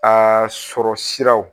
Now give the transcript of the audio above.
Aa sɔrɔ siraw